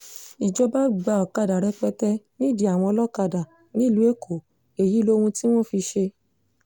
ìjọba gba ọ̀kadà rẹpẹtẹ nídìí àwọn olókàdá nílùú èkó èyí lohun tí wọ́n fi í ṣe